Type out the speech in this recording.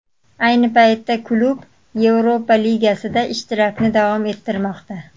Ayni paytda klub Yevropa Ligasida ishtirokini davom ettirmoqda.